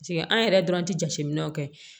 an yɛrɛ dɔrɔn tɛ jateminɛw kɛ